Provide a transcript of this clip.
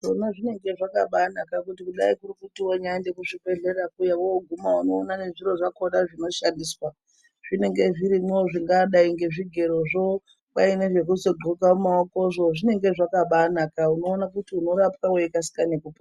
Kwona zvinenge zvakabaanaka kuti kudayi kunyari kuenda kuchibhedhlera kuya wooguma unoona nezviro zvakhona zvinoshandiswa zvinenge zvirimwo zvingadayi nezvigerozvo, kwai zvekugxoka maoko zvinenge zvirimwo. Zvinenge zvakabaanaka uoona kuti unorapwa weibaakasika ngekupona.